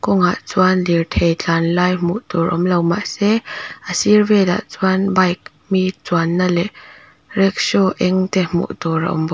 kawng ah chuan lirthei tlan lai hmuh tur awmlo mahse a sir velah chuan bike mi chuan na leh rickshaw eng te hmuh tur a awm bawk.